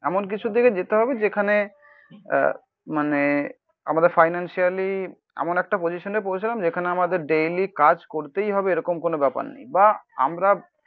এমন কিছুর দিকে যেতে হবে যেখানে আ মানে আমাদের ফিনানসিয়ালি এমন একটা পজিশান এ পৌঁছালাম যেখানে আমাদের ডেলি কাজ করতেই হবে এরকম কোনো ব্যাপার নেই. বা আমরা